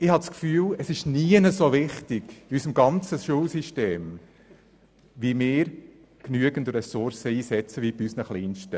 Ich habe den Eindruck, dass es an keiner anderen Stelle unseres Schulsystems so wichtig ist, genügend Ressourcen einzusetzen, wie bei unseren Kleinsten.